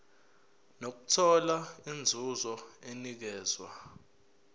nokuthola inzuzo enikezwa